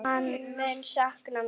Hann mun sakna mín.